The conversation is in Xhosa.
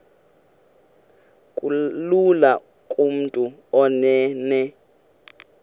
kulula kumntu onen